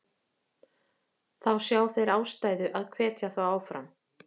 Þá sjá þeir ástæðu að hvetja þá áfram.